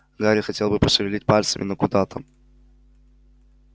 гарри хотел было пошевелить пальцами но куда там